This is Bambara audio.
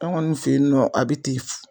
An kɔni fe yen nɔ a be ten fu